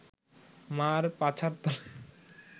মা’র পাছার তলে